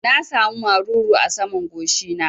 Na sa mu maruru a saman goshi na